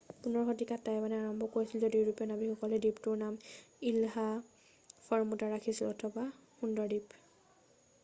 15 শতিকাতেই টাইৱানে আৰম্ভ কৰিছিল য'ত ইউৰোপীয়া নাৱিকসকলে দ্বীপটোৰ নাম ইলহা ফৰমুটা ৰাখিছিল অথবা সুন্দৰ দ্বীপ